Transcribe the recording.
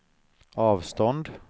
avstånd